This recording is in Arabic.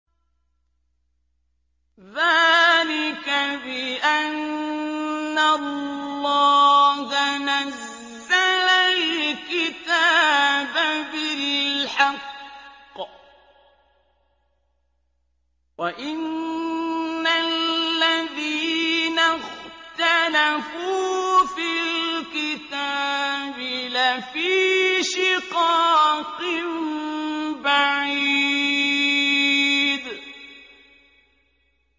ذَٰلِكَ بِأَنَّ اللَّهَ نَزَّلَ الْكِتَابَ بِالْحَقِّ ۗ وَإِنَّ الَّذِينَ اخْتَلَفُوا فِي الْكِتَابِ لَفِي شِقَاقٍ بَعِيدٍ